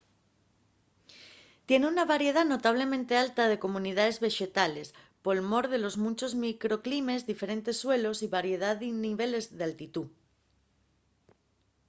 tien una variedá notablemente alta de comunidaes vexetales por mor de los munchos microclimes diferentes suelos y variedá de niveles d’altitú